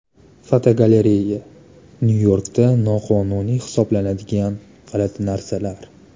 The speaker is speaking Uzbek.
Fotogalereya: Nyu-Yorkda noqonuniy hisoblanadigan g‘alati narsalar.